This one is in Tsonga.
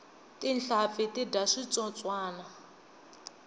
tinhlampfi ti dya switsotswani